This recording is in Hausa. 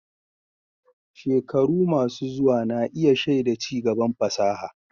Shekaru masu zuwa na iya shaida ci gaban fasaha.